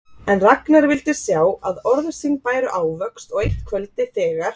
En Ragnar vildi sjá að orð sín bæru ávöxt og eitt kvöldið, þegar